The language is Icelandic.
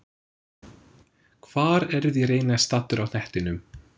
Hvar eruð þér eiginlega staddur á hnettinum?